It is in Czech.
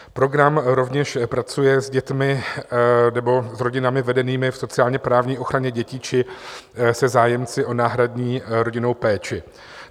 Program rovněž pracuje s dětmi nebo s rodinami vedenými v sociálně-právní ochraně dětí či se zájemci o náhradní rodinnou péči.